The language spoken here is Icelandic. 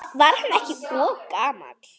Var hann ekki of gamall?